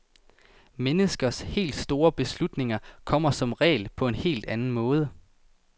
Menneskers helt store beslutninger kommer som regel på en helt anden måde.